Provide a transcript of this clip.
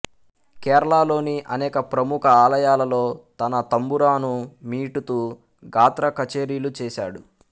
కేరళలోని అనేక ప్రముఖ ఆలయాలలో తన తంబురాను మీటుతూ గాత్ర కచేరీలు చేసాడు